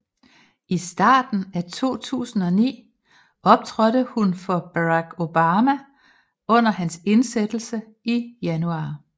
I starten af 2009 optrådte hun for Barack Obama under hans indsættelse i januar